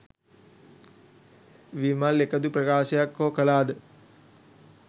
විමල් එකදු ප්‍රකාශයක් හෝ කලාද?